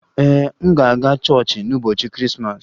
Ee, m ga-aga chọọchị n'ụbọchị Krismas